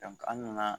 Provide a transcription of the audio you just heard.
an nana